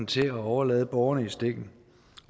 til at overlade borgerne i stikken